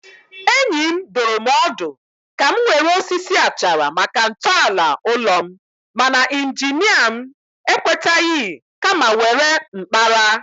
Enyi m dụrụ m ọdụ ka m were osisi achara maka ntọala ụlọ m, mana injinia m ekwetaghị kama were mkpara.